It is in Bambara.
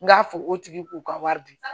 N k'a fɔ o tigi k'u ka wari di